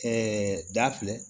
da filɛ